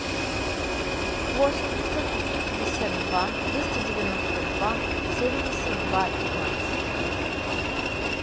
восемь пятьсот пятьдесят два двести девяносто два семьдесят два пятнадцать